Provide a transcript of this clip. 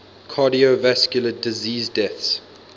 cardiovascular disease deaths